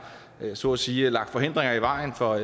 så at sige har lagt hindringer i vejen for